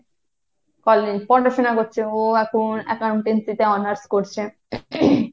college পড়াশোনা করছে ও এখন accountancy তে honors করছে ।